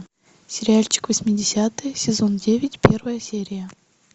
сериальчик восьмидесятые сезон девять первая серия